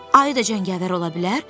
Ayı da cəngavər ola bilər?”